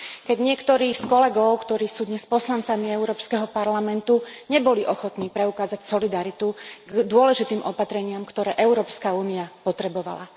Keď niektorí z kolegov, ktorí sú dnes poslancami Európskeho parlamentu, neboli ochotní preukázať solidaritu voči dôležitým opatreniam, ktoré EÚ potrebovala.